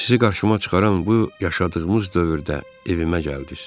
Sizi qarşıma çıxaran bu yaşadığımız dövrdə evimə gəldiz.